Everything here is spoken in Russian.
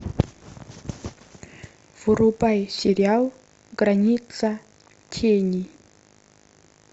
врубай сериал граница тени